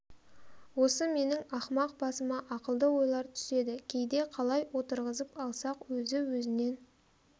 осы менің ақымақ басыма ақылды ойлар түседі кейде қалай отырғызып алсақ өзі-өзінен